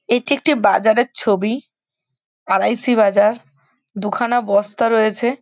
এটি একটি বাজারের ছবি আর.আই.সি. বাজার। দু খানা বস্তা রয়েছে।